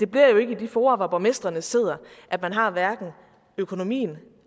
bliver i de fora hvor borgmestrene sidder at man har økonomien